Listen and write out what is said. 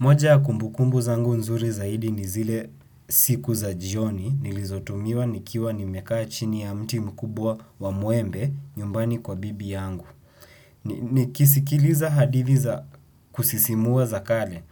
Moja ya kumbukumbu zangu nzuri zaidi ni zile siku za jioni nilizotumia nikiwa nimekaa chini ya mti mkubwa wa mwembe nyumbani kwa bibi yangu. Nikisikiliza hadithi za kusisimua za kale